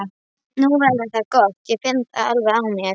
Nú verður það gott, ég finn það alveg á mér!